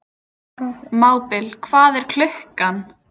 Mábil, hvað er klukkan?